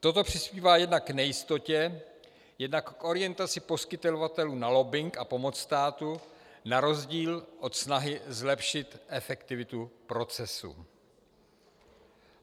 Toto přispívá jednak k nejistotě, jednak k orientaci poskytovatelů na lobbing a pomoc státu na rozdíl od snahy zlepšit efektivitu procesu.